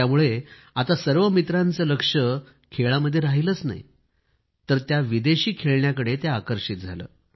त्यामुळं आता सर्व मित्रांचे लक्ष खेळामध्ये राहिलेच नाही तर त्या विदेशी खेळण्याकडे होते